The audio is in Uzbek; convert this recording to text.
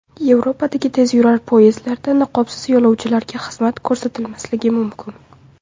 Yevropadagi tezyurar poyezdlarda niqobsiz yo‘lovchilarga xizmat ko‘rsatilmasligi mumkin.